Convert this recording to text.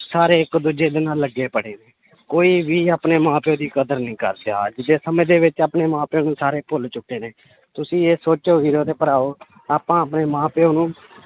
ਸਾਰੇ ਇੱਕ ਦੂਜੇ ਦੇ ਨਾਲ ਲੱਗੇ ਪਏ ਨੇ, ਕੋਈ ਵੀ ਆਪਣੇ ਮਾਂ ਪਿਓ ਦੀ ਕਦਰ ਨੀ ਕਰਦਾ ਅੱਜ ਦੇ ਸਮੇਂ ਦੇ ਵਿੱਚ ਆਪਣੇ ਮਾਂ ਪਿਓ ਨੂੰ ਸਾਰੇ ਭੁੱਲ ਚੁੱਕੇ ਨੇ ਤੁਸੀਂ ਇਹ ਸੋਚੋ ਵੀਰੋ ਤੇ ਭਰਾਵੋ ਆਪਾਂ ਆਪਣੇ ਮਾਂ ਪਿਓ ਨੂੰ